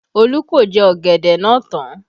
Olu ko jẹ ọ̀gẹ̀dẹ̀ náà tán